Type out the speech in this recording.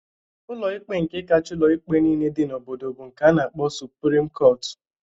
ụlọikpe nke kachaa ụlọikpe nile dị n'obodo bụ nke a na-akpọ suprim kọtụ